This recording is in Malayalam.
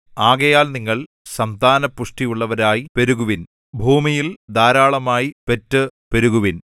ആകയാൽ നിങ്ങൾ സന്താന പുഷ്ടിയുള്ളവരായി പെരുകുവിൻ ഭൂമിയിൽ ധാരാളമായി പെറ്റു പെരുകുവിൻ